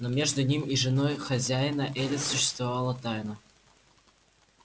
но между ним и женой хозяина элис существовала тайна